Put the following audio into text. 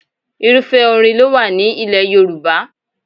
Irúfẹ́ orin ló wà ní ilẹ̀ Yorùbá.